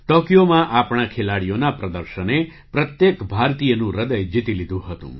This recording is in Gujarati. ટૉકિયોમાં આપણા ખેલાડીઓના પ્રદર્શને પ્રત્યેક ભારતીયનું હૃદય જીતી લીધું હતું